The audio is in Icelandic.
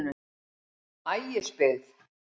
Ægisbyggð